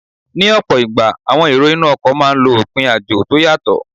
Ní ọ̀pọ̀ ìgbà, àwọn èrò inú ọkọ̀ máà ń lọ òpin àjò tó yàtọ